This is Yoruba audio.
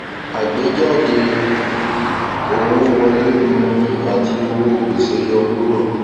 àgbéjáde owó wọlé um àti owó gbèsè yọ kúrò